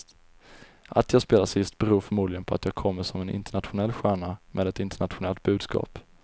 Att jag spelar sist beror förmodligen på att jag kommer som en internationell stjärna med ett internationellt budskap.